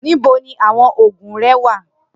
Nibo ni awọn oogun rẹ wa?